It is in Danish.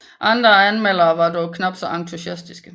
Andre anmeldere var dog knapt så entusiastiske